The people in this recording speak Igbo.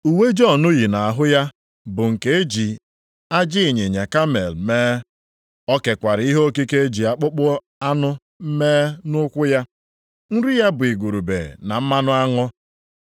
Uwe Jọn yi nʼahụ ya bụ nke e ji ajị ịnyịnya kamel mee. O kekwara ihe okike e ji akpụkpọ anụ mee nʼukwu ya. Nri ya bụ igurube na mmanụ aṅụ.